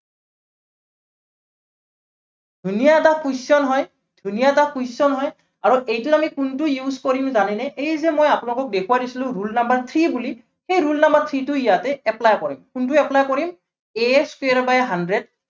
ধুনীয়া এটা question হয়, ধুনীয়া এটা question হয়। আৰু এইটো আমি কোনটো use কৰিম জানানে? এই যে মই আপোনালোকক দেখুৱাই দিছিলো rule number three বুলি, সেই rule number three টো ইয়াতে apply কৰিম, কোনটো apply কৰিম a square by hundred